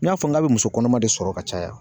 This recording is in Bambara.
N y'a fɔ n k'a bɛ muso kɔnɔma de sɔrɔ ka caya.